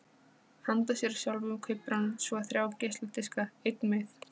Handa sér sjálfum kaupir hann svo þrjá geisladiska: einn með